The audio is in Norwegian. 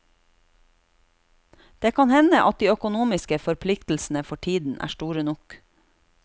Det kan hende at de økonomiske forpliktelsene for tiden er store nok.